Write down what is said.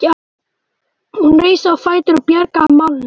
Hún reis á fætur og bjargaði málunum.